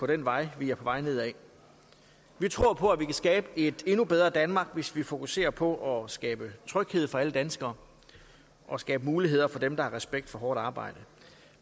den vej vi er på vej ned ad vi tror på at vi kan skabe et endnu bedre danmark hvis vi fokuserer på at skabe tryghed for alle danskere og skabe muligheder for dem der har respekt for hårdt arbejde